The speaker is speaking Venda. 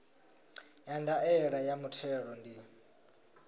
ya ndaela ya muthelo ndi